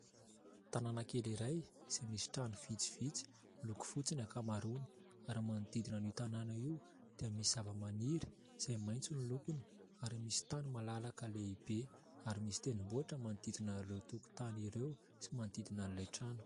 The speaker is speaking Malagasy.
Tanàna kely iray izay misy trano vitsivitsy miloko fotsy ny ankamaroany ary manodidina anio tanàna io dia misy zava-maniry izay maintso ny lokony ary misy tany malalaka lehibe, ary misy tendrombohitra manodidina ireo tokontany ireo sy manodidina an'ilay trano.